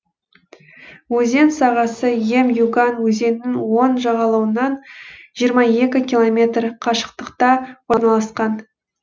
өзен сағасы ем юган өзенінің оң жағалауынан жиырма екі километр қашықтықта орналасқан